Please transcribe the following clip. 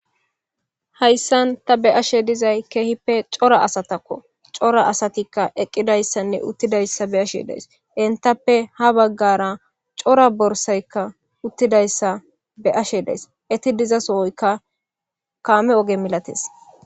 Hayssan ta be'ashe dizayssi kehippe cora asatakko cora asati eqqidayssane uttidayssa be'ashe dayssi enttape ha bagara cora borssay uttidayssa bd'ashe dayssi etti dizasoykka kame oge malates.